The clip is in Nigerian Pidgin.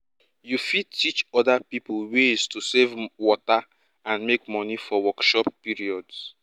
you fit teach oda pipo ways to save water and make money for workshop periods